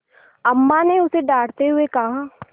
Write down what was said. अम्मा ने उसे डाँटते हुए कहा